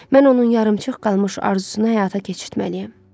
Mən onun yarımçıq qalmış arzusunu həyata keçirtməliyəm.